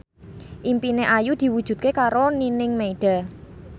impine Ayu diwujudke karo Nining Meida